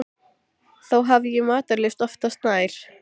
Þó hafði ég matarlyst oftast nær.